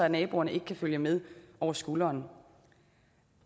naboerne ikke kan følge med over skulderen